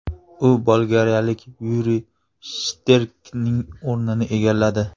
U bolgariyalik Yuriy Shterkning o‘rnini egalladi.